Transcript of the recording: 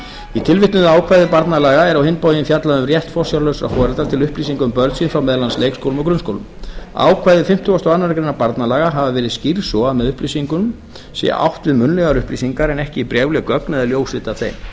í tilvitnuðu ákvæði barnalaga er á hinn bóginn fjallað um rétt forsjárlausra foreldra til upplýsinga um börn sín frá meðal annars leikskólum og grunnskólum ákvæði fimmtugasta og aðra grein barnalaga hafa verið skýrð svo að með upplýsingum sé átt við munnlegar upplýsingar en ekki bréfleg gögn eða ljósrit af þeim